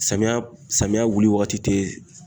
Samiya samiya wuli wagati tɛ